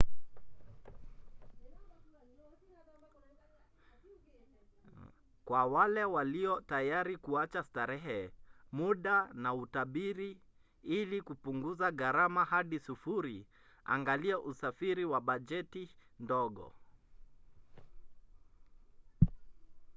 kwa wale walio tayari kuacha starehe muda na utabiri ili kupunguza garama hadi sufuri angalia usafiri wa bajeti ndogo